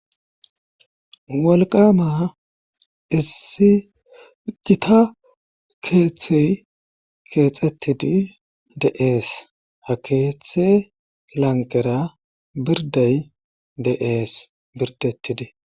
walqama issi gita keeththey keexettidi de'ees ha keeththe lanqera birday de'ees birdettidi